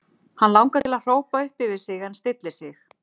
Hann langar til að hrópa upp yfir sig en stillir sig.